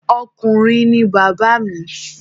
Ọkùnrin ni bàbá mi